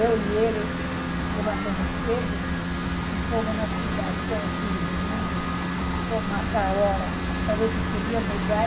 Eu e ele levantamos cedo e fomos na cidade, deixamos os filhos dormindo e fomos marcar a hora para ver se podia mudar